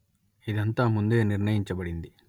ఇదంతా ముందే నిర్ణయించబడింది